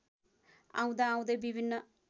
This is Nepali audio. आउँदाआउँदै विभिन्न